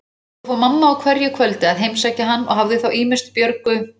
Þangað fór mamma á hverju kvöldi að heimsækja hann og hafði þá ýmist Björgu